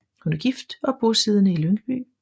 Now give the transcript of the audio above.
Hun er gift og bosiddende i Lyngby